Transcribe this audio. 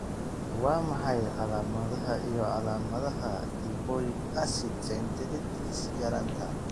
Waa maxay calaamadaha iyo calaamadaha lipoic acid synthetase yaraanta?